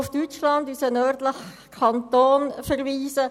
Ich möchte noch auf unseren «nördlichen Kanton» Deutschland verweisen: